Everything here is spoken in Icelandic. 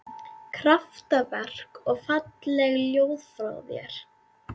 Kraftaverk og falleg ljóð frá þér